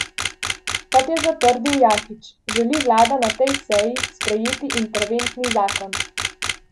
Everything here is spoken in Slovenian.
Kot je zatrdil Jakič, želi vlada na tej seji sprejeti interventni zakon.